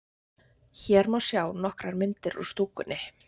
Hér má sjá nokkrar myndir úr stúkunni.